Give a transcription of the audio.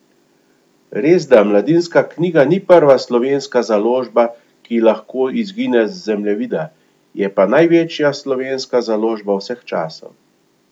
Resda Mladinska knjiga ni prva slovenska založba, ki lahko izgine z zemljevida, je pa največja slovenska založba vseh časov.